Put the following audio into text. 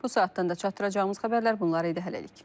Bu saatdan da çatdıracağımız xəbərlər bunlar idi hələlik.